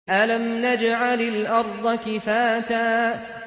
أَلَمْ نَجْعَلِ الْأَرْضَ كِفَاتًا